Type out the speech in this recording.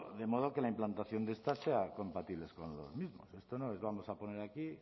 de modo que la implantación de esta sea compatible con los mismos esto no les vamos a poner aquí